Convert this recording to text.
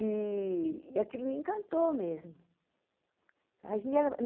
E e aquilo me encantou mesmo.